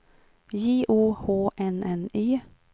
J O H N N Y